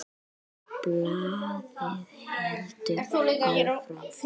Og blaðið heldur áfram